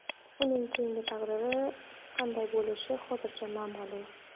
Uning keyingi taqdiri qanday bo‘lishi hozircha noma’lum.